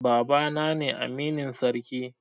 Baba na ne aminin sarki